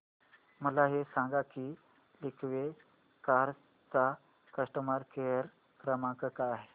मला हे सांग की लिंकवे कार्स चा कस्टमर केअर क्रमांक काय आहे